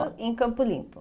em Campo Limpo?